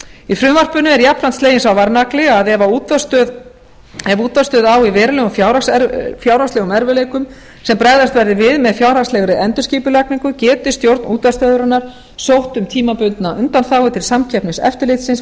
í frumvarpinu er jafnframt sleginn sá varnagli að ef útvarpsstöð á í verulegum fjárhagslegum erfiðleikum sem bregðast verði við með fjárhagslegri endurskipulagningu geti stjórn útvarpsstöðvarinnar sótt um tímabundna undanþágu til samkeppniseftirlitsins